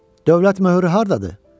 Dövlət möhrü hardadır?